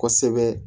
Kosɛbɛ